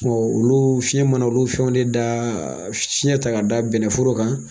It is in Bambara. olu fiɲɛ mana olu fɛnw ne da fiɲɛ ta ka da bɛnnɛ foro kan